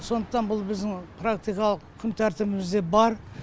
сондықтан бұл біздің практикалық күнтәртібімізде бар